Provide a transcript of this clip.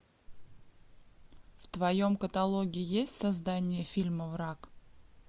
в твоем каталоге есть создание фильма враг